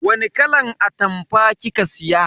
Wani kalan atamfa kika siya?